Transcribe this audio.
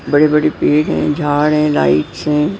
बड़ी-बड़ी पेड़ हैं झाड़ है लाइट है।